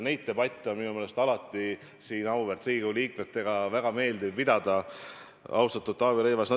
Neid debatte on minu meelest alati siin auväärt Riigikogu liikmetega väga meeldiv pidada, austatud Taavi Rõivas.